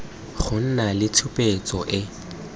go nna le tshupetso e